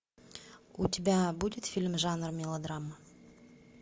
у тебя будет фильм жанра мелодрама